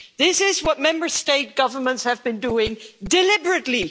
This is what Member State governments have been doing deliberately.